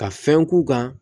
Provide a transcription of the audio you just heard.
Ka fɛn k'u kan